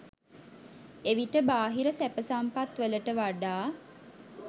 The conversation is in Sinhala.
එවිට බාහිර සැප සම්පත් වලට වඩා